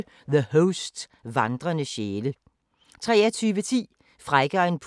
04:40: Krop umulig!